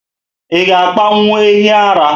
Ịga apanwu ehi ara?